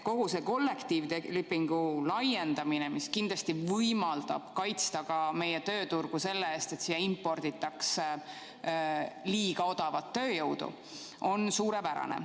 Kogu see kollektiivlepingu laiendamine, mis kindlasti võimaldab kaitsta ka meie tööturgu selle eest, et siia imporditakse liiga odavat tööjõudu, on suurepärane.